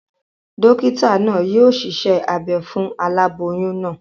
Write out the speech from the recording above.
Dókítà naa yio siṣẹ́ abe fún aláboyún naa